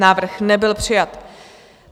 Návrh nebyl přijat.